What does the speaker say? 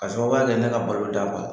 K'a sababuya kɛ ne ka baloda b'a la.